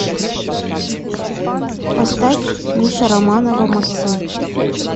поставь миша романова максим